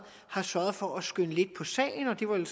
har sørget for at skynde lidt på sagen og det var vel